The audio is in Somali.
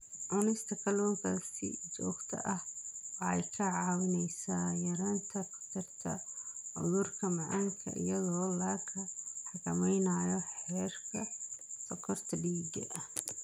Cunista kalluunka si joogto ah waxay kaa caawinaysaa yaraynta khatarta cudurka macaanka iyadoo la xakameynayo heerarka sonkorta dhiigga.